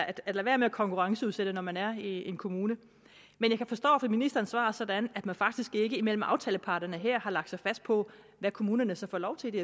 at at lade være med at konkurrenceudsætte når man er en kommune men jeg forstår ministerens svar sådan at man faktisk ikke imellem aftaleparterne her har lagt sig fast på hvad kommunerne så får lov til i de